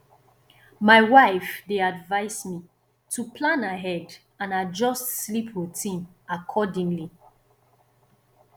my wife dey advise me to plan ahead and adjust sleep routine accordingly